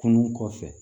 Kunun kɔfɛ